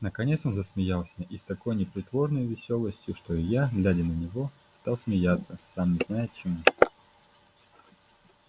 наконец он засмеялся и с такой непритворной весёлостью что и я глядя на него стал смеяться сам не зная чему